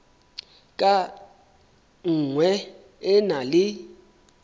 ka nngwe e na le